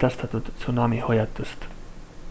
edastatud tsunamihoiatust